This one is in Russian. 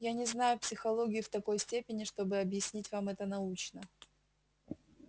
я не знаю психологию в такой степени чтобы объяснить вам это научно